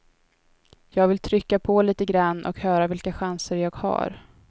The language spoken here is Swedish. Jag vill trycka på lite grann och höra vilka chanser jag har.